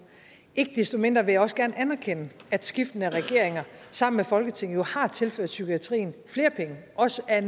ikke desto mindre vil jeg også gerne anerkende at skiftende regeringer sammen med folketinget har tilført psykiatrien flere penge også ad